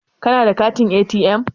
Kana da katin ATM?